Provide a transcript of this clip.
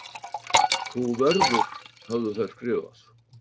Þú verður höfðu þær skrifað.